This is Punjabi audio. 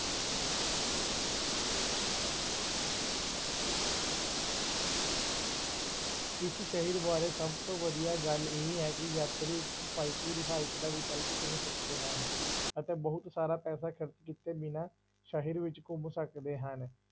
ਇਸ ਸ਼ਹਿਰ ਬਾਰੇ ਸਭ ਤੋਂ ਵਧੀਆ ਗੱਲ ਇਹ ਹੈ ਕਿ ਯਾਤਰੀ ਕਿਫ਼ਾਇਤੀ ਰਿਹਾਇਸ ਦਾ ਵਿਕਲਪ ਚੁਣ ਸਕਦੇ ਹਨ, ਅਤੇ ਬਹੁਤ ਸਾਰਾ ਪੈਸਾ ਖ਼ਰਚ ਕੀਤੇ ਬਿਨਾਂ ਸ਼ਹਿਰ ਵਿੱਚ ਘੁੰਮ ਸਕਦੇ ਹਨ।